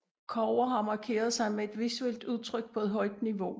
Cover har markeret sig med et visuelt udtryk på et højt niveau